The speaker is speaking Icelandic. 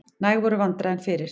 Næg voru vandræðin fyrir.